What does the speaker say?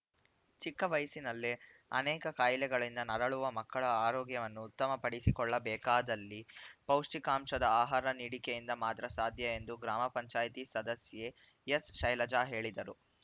ಚಿಕ್ಕ ವಯಸ್ಸಿನಲ್ಲೇ ಅನೇಕ ಕಾಯಿಲೆಗಳಿಂದ ನರಳುವ ಮಕ್ಕಳ ಆರೋಗ್ಯವನ್ನು ಉತ್ತಮ ಪಡಿಸಿಕೊಳ್ಳಬೇಕಾದಲ್ಲಿ ಪೌಷ್ಟಿಕಾಂಶದ ಆಹಾರ ನೀಡಿಕೆಯಿಂದ ಮಾತ್ರ ಸಾಧ್ಯ ಎಂದು ಗ್ರಾಮ ಪಂಚಾಯಿತಿ ಸದಸ್ಯೆ ಎಸ್‌ ಶೈಲಜಾ ಹೇಳಿದರು